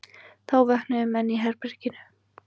Þá vöknuðu menn í herberginu.